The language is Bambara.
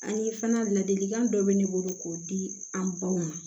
Ani fana ladilikan dɔ bɛ ne bolo k'o di an baw ma